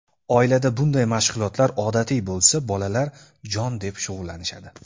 Oilada bunday mashg‘ulotlar odatiy bo‘lsa, bolalar jon deb shug‘ullanishadi.